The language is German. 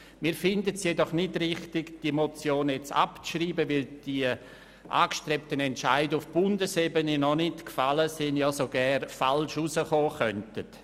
Wir finden es jedoch nicht richtig, die Motion nun abzuschreiben, weil die angestrebten Entscheide auf Bundesebene noch nicht gefallen sind, ja sogar falsch herauskommen könnten.